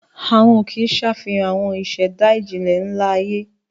Àwọn òkè ṣe àfihàn àwọn ìṣẹ̀dá ìjìnlẹ̀ ńlá ayé.